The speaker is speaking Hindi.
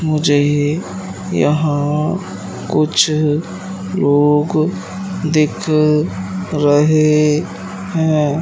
मुझे ये यहां कुछ लोग दिख रहे हैं।